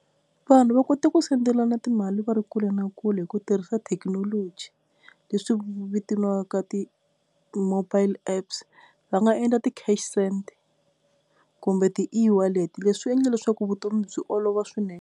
Vanhu va kota ku sendelana timali va ri kule na kule hi ku tirhisa thekinoloji leswi vitaniwaka ti-mobile app, va nga endla ti-cash send kumbe ti-eWallet leswi swi endle leswaku vutomi byi olova swinene.